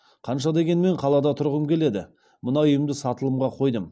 қанша дегенмен қалада тұрғым келеді мына үйімді сатылымға қойдым